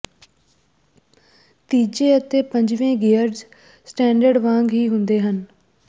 ਤੀਜੇ ਅਤੇ ਪੰਜਵੇਂ ਗੇਅਰਜ਼ ਸਟੈਂਡਰਡ ਵਾਂਗ ਹੀ ਹੁੰਦੇ ਹਨ